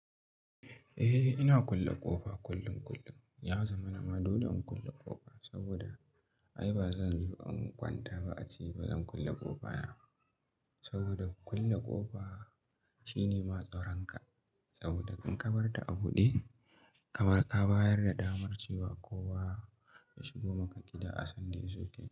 Eh ina kulle ƙofa kullum kullum. Ya zama na ma dole da in kulle ƙofa saboda ai ba zan samu ƙwanta ba a ci ba zan kulle ƙofa na. Saboda kulle ƙofa shine ma tsaran ka saboda in ka barta a buɗe kamar ka bayar da damar cewa kowa ya shigo maka gida a sanda ya zo ke.